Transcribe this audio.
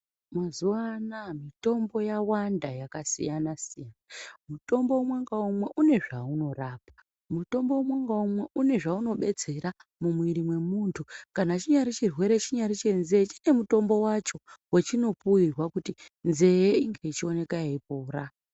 Mazuwa anaya mitombo yawanda yakasiyana siyana. Mutombo umwe ngaumwe une zvaunorapa. Mutombo umwe ngaumwe une zvaunobetsera mumuwiri mwemuntu. Kana chinyari chirwere chinyari chenzee chine mutombo wacho wechinopuwirwa kuti nzee inge ichioneka yeipora.